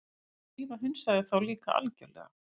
Drífa hunsaði þá líka algjörlega.